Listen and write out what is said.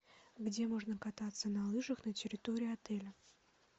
где можно кататься на лыжах на территории отеля